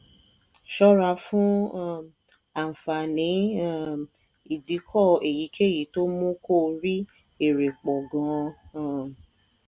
ṣọ́ra fún um àǹfààní um ìdíkò èyíkéyìí tó mú kó o rí èrè pọ̀ gan-an. um